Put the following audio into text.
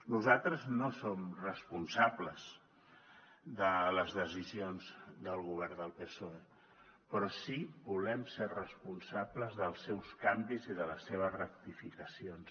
nosaltres no som responsables de les decisions del govern del psoe però sí que volem ser responsables dels seus canvis i de les seves rectificacions